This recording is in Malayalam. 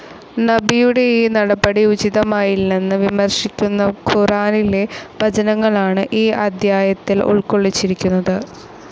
നബിയുടെ ഈ നടപടി ഉചിതമായില്ലെന്ന് വിമർശിക്കുന്ന ഖുറാനിലെ വചനങ്ങളാണ് ഈ അദ്ധ്യായത്തിൽ ഉൾക്കൊള്ളിച്ചിരിക്കുന്നത്.